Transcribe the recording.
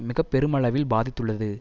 மிக பெருமளவில் பாதித்துள்ளது